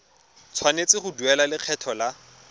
tshwanetse go duela lekgetho la